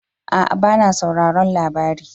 A'a ba na sauraron labari